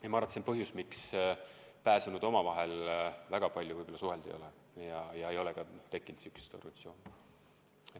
Ma arvan, et see on põhjus, miks pääsenud omavahel väga palju suhelnud ei ole ega ole ka tekkinud sihukest organisatsiooni.